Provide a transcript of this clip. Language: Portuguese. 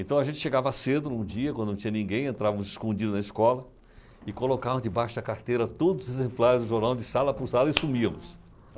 Então a gente chegava cedo num dia, quando não tinha ninguém, entrávamos escondidos na escola e colocávamos debaixo da carteira todos os exemplares do jornal de sala por sala e sumíamos.